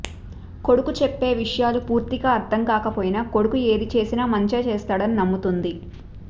కొడుకు చెప్పే విషయాలు పూర్తిగా అర్థం కాకపోయినా కొడుకు ఏది చేసిన మంచే చేస్తాడని నమ్ముతుంది